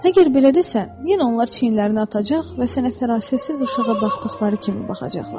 Əgər belə desən, yenə onlar çiyinlərini atacaq və sənə fərasətsiz uşağa baxdıqları kimi baxacaqlar.